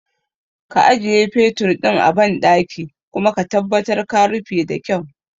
Ka ajiye fetur ɗin a banɗaki kuma ka tabbatar ka rufe da kyau